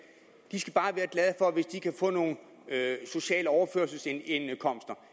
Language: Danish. det de kan få nogle sociale overførselsindkomster